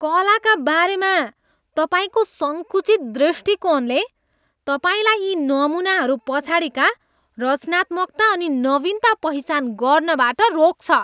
कलाका बारेमा तपाईँको सङ्कुचित दृष्टिकोणले तपाईँलाई यी नमुनाहरू पछाडिका रचनात्मकता अनि नवीनता पहिचान गर्नबाट रोक्छ।